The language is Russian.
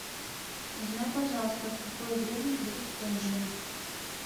узнай пожалуйста в какое время будет ужин